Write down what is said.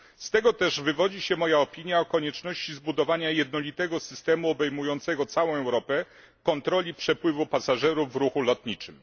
Z tego też wywodzi się moja opinia o konieczności zbudowania jednolitego systemu obejmującego całą Europę kontroli przepływu pasażerów w ruchu lotniczym.